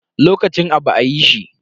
Lokacin abu a yi shi.